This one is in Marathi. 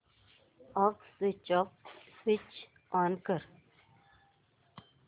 अॅप स्विच ऑन कर